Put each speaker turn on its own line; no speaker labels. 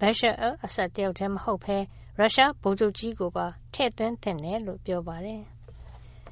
Bashar al-Assad တယောက်တည်းမဟုတ်ဘဲ ရုရှားဗိုလ်ချုပ်ကြီးကိုပါ ထည့်သွင်းသင့်တယ်လို့ ပြောပါတယ်။